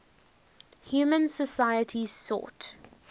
human societies sought